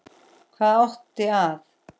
Hvað átti að